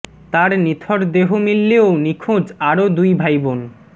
তার নিথর দেহ মিললেও নিখোঁজ আরও দুই ভাই বোন